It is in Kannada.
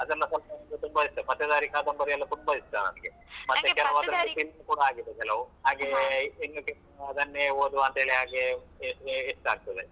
ಅದೆಲ್ಲ ಸ್ವಲ್ಪ ನನ್ಗೆ ತುಂಬ ಇಷ್ಟ. ಪತ್ತೆದಾರಿ ಕಾದಂಬರಿ ಎಲ್ಲ ತುಂಬ ಇಷ್ಟ ನನ್ಗೆ. sink ಕೂಡ ಆಗಿದೆ ಕೆಲವು. ಹಾಗೆ ಓದುವಂತೇಳಿ ಹಾಗೆ ಹೆಚ್ಚಾಗ್ತದೆ.